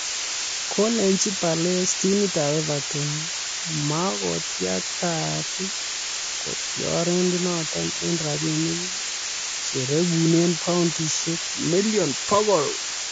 Kolechi Palace timitab Everton makoitiakta kotioriendenoto eng rabiinik che rekune paundisiek million bokol